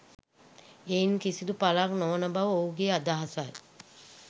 එයින් කිසිදු පලක් නොවන බව ඔහුගේ අදහසයි